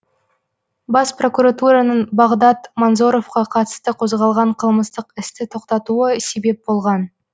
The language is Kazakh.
бас прокуратураның бағдат манзоровқа қатысты қозғалған қылмыстық істі тоқтатуы себеп болған